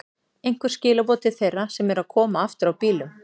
Einhver skilaboð til þeirra sem eru að koma aftur á bílum?